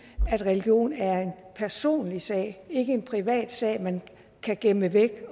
at religion er en personlig sag ikke en privat sag man kan gemme væk